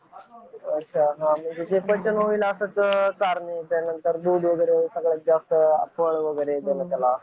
अच्छा हां जे पचन होईल तेच चारणे त्या मुलांना वगैरे सगळ्यात जास्त फळ वगैरे